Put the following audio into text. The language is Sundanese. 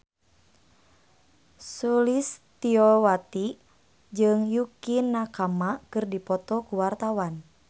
Sulistyowati jeung Yukie Nakama keur dipoto ku wartawan